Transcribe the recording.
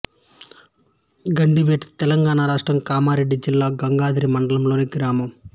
గండివేట్ తెలంగాణ రాష్ట్రం కామారెడ్డి జిల్లా గాంధారి మండలంలోని గ్రామం